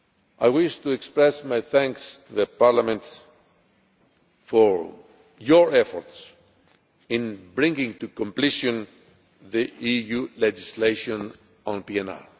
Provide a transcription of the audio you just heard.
I wish to express my thanks to Parliament for your efforts in bringing to completion the EU legislation on